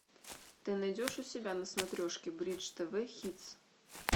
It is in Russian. ты найдешь у себя на смотрешке бридж тв хитс